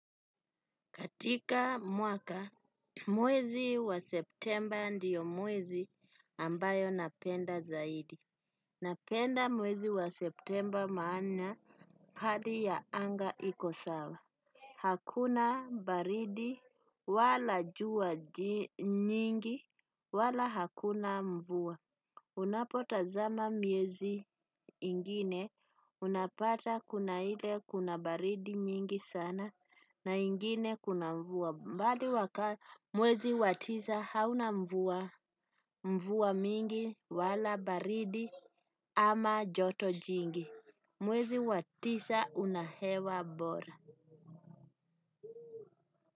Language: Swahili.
Katika mwaka, mwezi wa septemba ndiyo mwezi ambayo napenda zaidi. Napenda mwezi wa septemba maana hali ya anga iko sawa. Hakuna baridi wala jua nyingi wala hakuna mvua. Unapota zama miezi ingine unapata kuna hile kuna baridi nyingi sana na ingine kuna mvua. Mwezi wa tisa hauna mvua mvua mingi wala baridi ama joto jingi. Mwezi wa tisa una hewa bora.